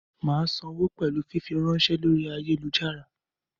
Mà sánwo pẹ̀lú fífiránsẹ́ lórí ayélujára.